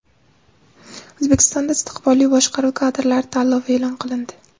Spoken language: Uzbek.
O‘zbekistonda istiqbolli boshqaruv kadrlari tanlovi e’lon qilindi.